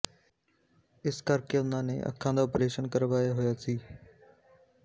ਇਸ ਕਰਕੇ ਉਨ੍ਹਾਂ ਨੇ ਅੱਖਾਂ ਦਾ ਆਪਰੇਸ਼ਨ ਕਰਵਾਇਆ ਹੋਇਆ ਸੀ